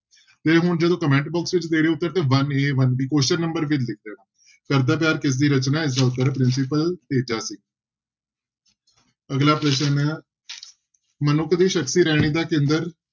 ਤੇ ਹੁਣ ਜਦੋਂ comment box ਵਿੱਚ ਦੇ ਰਹੇ ਹੋ ਉੱਤਰ ਤੇ one a one b question number ਘਰਦਾ ਪਿਆਰ ਕਿਸਦਾ ਰਚਨਾ ਹੈ, ਇਸਦਾ ਉੱਤਰ ਹੈ ਪ੍ਰਿੰਸੀਪਲ ਤੇਜਾ ਸਿੰਘ ਅਗਲਾ ਪ੍ਰਸ਼ਨ ਹੈ ਮਨੁੱਖ ਦੀ ਸ਼ਖ਼ਸੀ ਰਹਿਣੀ ਦਾ ਕੇਂਦਰ